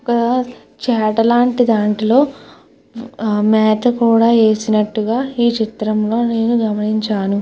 ఒక చాట లాంటి దాంట్లో మేత కూడా వేసినట్టుగా ఈ చిత్రంలో నేను గమనించాను.